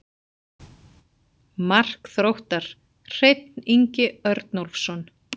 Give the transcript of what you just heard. Mark Þróttar: Hreinn Ingi Örnólfsson.